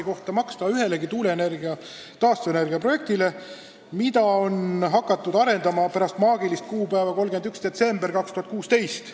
– ei saa maksta ühelegi tuuleenergia või taastuvenergia projektile, mida on hakatud arendama pärast maagilist kuupäeva 31. detsember 2016.